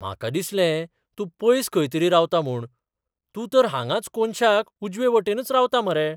म्हाका दिसलें तूं पयस खंय तरी रावता म्हूण. तूं तर हांगांच कोनशाक उजवेवटेनच रावता मरे.